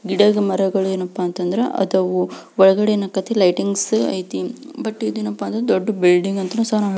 ಗಿಡ ಮರಗಳು ಏನಪ್ಪಾ ಅಂದ್ರೆ ಆದವು ಒಳಗಡೆ ಏನ್ ಅಯ್ಥಪ್ಪ ಅಂದ್ರೆ ಲೈಟಿಂಗ್ಸ್ ಅಯ್ತಿ ಬಟ್ ಇದೇನಪ ಅಂತ ಅಂದ್ರ ದೊಡ್ಡ ಬಿಲ್ಡಿಂಗ್ ಅಂತ್ರ ಸಹ--